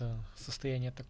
состав